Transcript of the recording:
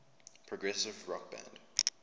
progressive rock band